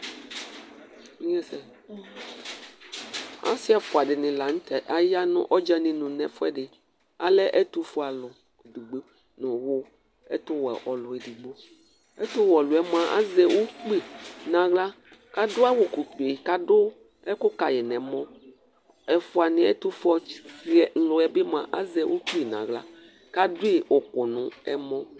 Ɔsɩ ɛʋʊaɗɩnɩ lanʊtɛ ayanʊ adɗjanɩnʊ nʊ ɛƒʊ ɛɗɩ alɛ ɛtʊ oƒe alʊ eɗɩgɓo ɛtʊwɛ eɗɩgɓo ɛtʊwɛ aƴɔlʊƴɛ azɛ ʊgɓɩ nahla aɗʊƴɩ ʊƙʊ oɓe nʊ ɛmɔ ɛtʊƒʊelanɩɛɓɩ azɛ ʊgɓɩ nʊ ahla ƙaɗʊƴɩ ʊƙʊ nʊ ɛmɔ